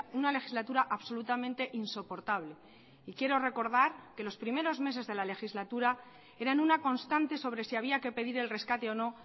una legislatura absolutamente insoportable y quiero recordar que los primeros meses de la legislatura eran una constante sobre si había que pedir el rescate o no